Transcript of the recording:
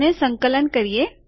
અને સંકલન કરીએ